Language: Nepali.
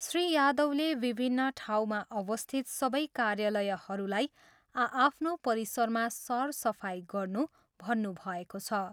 श्री यादवले विभिन्न टाँउमा अवस्थित सबै कार्यालयहरूलाई आआफ्नो परिसरमा सरसफाइ गर्नू भन्नुभएको छ।